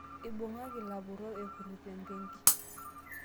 ibung'aki ilapurrok epurito embenki